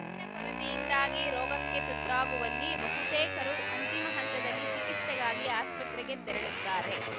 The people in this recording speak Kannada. ಅರಿವಿನ ಕೊರತೆಯಿಂದಾಗಿ ರೋಗಕ್ಕೆ ತುತ್ತಾಗುವಲ್ಲಿ ಬಹುತೇಕರು ಅಂತಿಮ ಹಂತದಲ್ಲಿ ಚಿಕಿಸ್ತೆಗಾಗಿ ಆಸ್ಪತ್ರೆಗೆ ತೆರಳುತ್ತಾರೆ